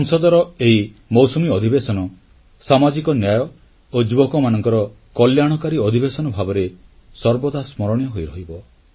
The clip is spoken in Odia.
ସଂସଦର ଏହି ମୌସୁମୀ ଅଧିବେଶନ ସାମାଜିକ ନ୍ୟାୟ ଓ ଯୁବକମାନଙ୍କର କଲ୍ୟାଣକାରୀ ଅଧିବେଶନ ଭାବରେ ସର୍ବଦା ସ୍ମରଣୀୟ ହୋଇରହିବ